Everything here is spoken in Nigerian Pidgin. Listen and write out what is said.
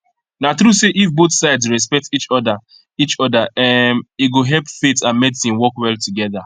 na true say if both sides respect each other each other um e go help faith and medicine work well together